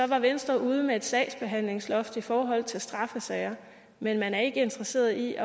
var venstre ude med et sagsbehandlingsloft i forhold til straffesager men man er ikke interesseret i